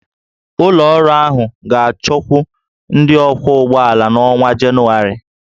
Ụlọ ọrụ ahụ ga-achọkwu ndị ọkwọ ụgbọ ala n'ọnwa Jenụwarị